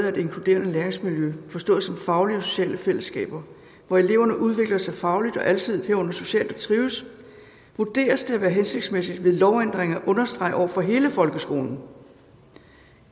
af et inkluderende læringsmiljø forstået som faglige og sociale fællesskaber hvor eleverne udvikler sig fagligt og alsidigt herunder socialt og trives vurderes det at være hensigtsmæssigt ved lovændring at understrege over for hele folkeskolen